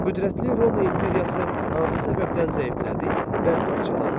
Qüdrətli Roma imperiyası hansı səbəbdən zəiflədi və parçalandı?